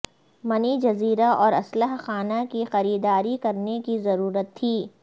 منی جزیرہ اور اسلحہ خانہ کی خریداری کرنے کی ضرورت تھی